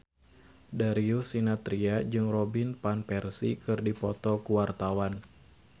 Darius Sinathrya jeung Robin Van Persie keur dipoto ku wartawan